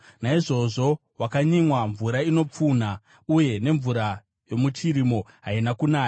Naizvozvo wakanyimwa mvura inopfunha, uye nemvura yomuchirimo haina kunaya.